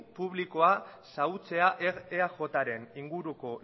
publiko xahutzea eaj ren inguruko